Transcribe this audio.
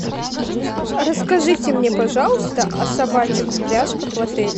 расскажите мне пожалуйста о собачьих упряжках в отеле